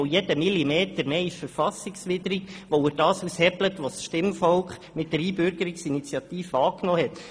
Denn jeder zusätzliche Millimeter ist verfassungswidrig, weil er das aushebelt, was das Stimmvolk mit der Einbürgerungsinitiative angenommen hat.